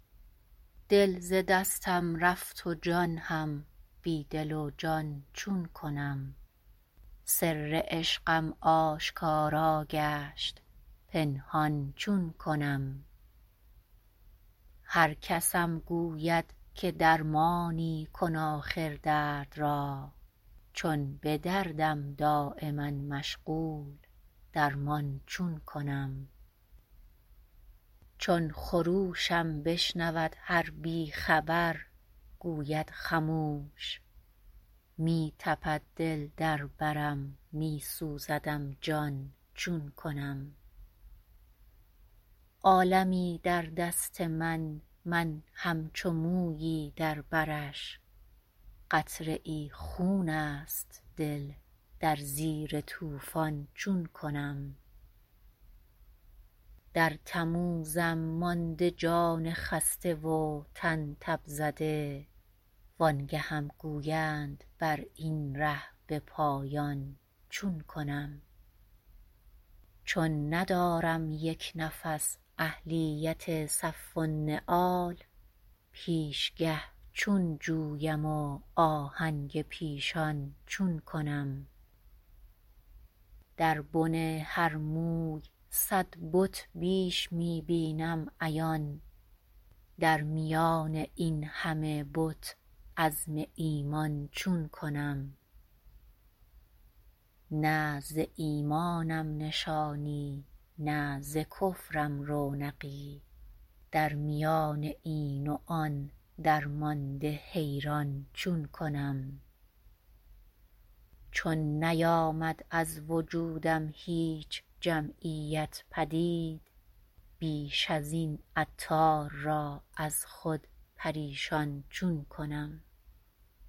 دل ز دستم رفت و جان هم بی دل و جان چون کنم سر عشقم آشکارا گشت پنهان چون کنم هرکسم گوید که درمانی کن آخر درد را چون به دردم دایما مشغول درمان چون کنم چون خروشم بشنود هر بی خبر گوید خموش می تپد دل در برم می سوزدم جان چون کنم عالمی در دست من من همچو مویی در برش قطره ای خون است دل در زیر طوفان چون کنم در تموزم مانده جان خسته و تن تب زده وآنگهم گویند براین ره به پایان چون کنم چون ندارم یک نفس اهلیت صف النعال پیشگه چون جویم و آهنگ پیشان چون کنم در بن هر موی صد بت بیش می بینم عیان در میان این همه بت عزم ایمان چون کنم نه ز ایمانم نشانی نه ز کفرم رونقی در میان این و آن درمانده حیران چون کنم چون نیامد از وجودم هیچ جمعیت پدید بیش ازین عطار را از خود پریشان چون کنم